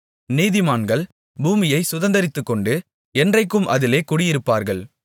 நீதிமான்கள் பூமியைச் சுதந்தரித்துக்கொண்டு என்றைக்கும் அதிலே குடியிருப்பார்கள்